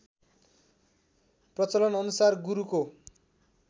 प्रचलन अनुसार गुरुको